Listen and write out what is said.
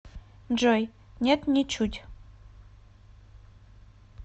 джой нет ничуть